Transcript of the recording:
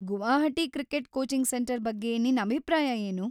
Guwahati cricket coaching centre ಬಗ್ಗೆ ನಿನ್ ಅಭಿಪ್ರಾಯ ಏನು?